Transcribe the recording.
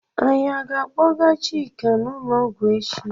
Anyị aga akpọga Chika n'ụlọọgwú echi?